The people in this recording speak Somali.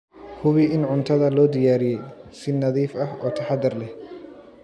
Hubi in cuntada loo diyaariyey si nadiif ah oo taxadar leh.